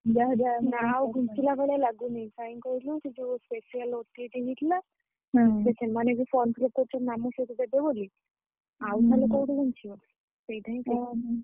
ନା ଆଉ ଘୁଞ୍ଚିଲା ଭଳିଆ ଲାଗୁନି କାହିଁକି କହିଲୁ ସେ ଯୋଉ special OTT ହେଇଥିଲା।